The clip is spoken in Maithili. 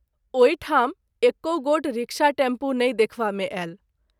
ओहि ठाम एकौ गोट रिक्शा- टैम्पू नहिं देखवा मे आयल।